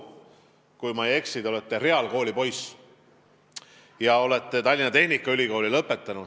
Kui ma ei eksi, siis te olete reaalkooli poiss ja olete lõpetanud ka Tallinna Tehnikaülikooli.